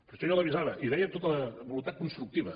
per això jo l’avisava i ho deia tota la voluntat constructiva